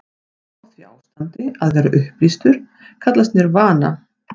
Að ná því ástandi, að vera upplýstur, kallast nirvana.